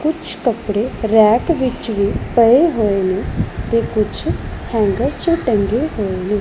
ਕੁਝ ਕੱਪੜੇ ਰੈਕ ਵਿੱਚ ਵੀ ਪਏ ਹੋਏ ਨੇ ਤੇ ਕੁਝ ਹੈਂਗਰ ਚੋਂ ਟੰਗੇ ਹੋਏ ਨੇ।